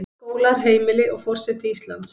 Skólar, heimili, og forseti Íslands.